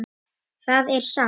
Það er satt!